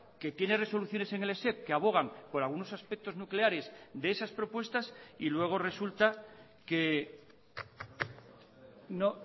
que tiene resoluciones en el esep que abogan por algunos aspectos nucleares de esas propuestas y luego resulta que no